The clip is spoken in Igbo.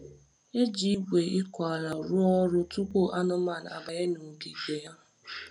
E ji igwe ịkụ ala rụọ ọrụ tupu anụmanụ abanye n’ogige ha.